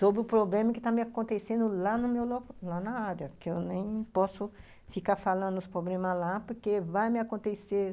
Sobre o problema que está me acontecendo lá no meu local, lá na área, que eu nem posso ficar falando os problemas lá porque vai me acontecer